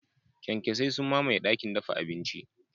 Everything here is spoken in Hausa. Kyankyasai sun mamaye dakin dafa abinci.